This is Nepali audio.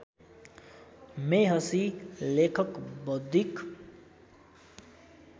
मेहसि लेखक बौद्धिक